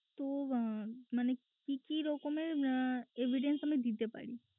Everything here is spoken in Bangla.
তো আহ মানে কি কি রকমের আহ evidence আমি দিতে পারি?